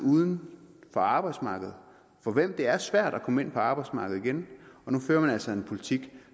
uden for arbejdsmarkedet for hvem det er svært at komme ind på arbejdsmarkedet igen og nu fører man altså en politik